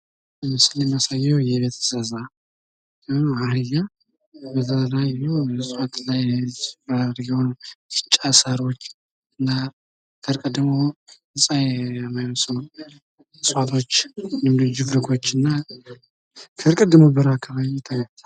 በምስሉ ላይ የምናየው የቤት እንስሳት አህያ ሲሆን፤ ሳሮች፣ እጽዋቶችና ችፍርጎች ይታያሉ።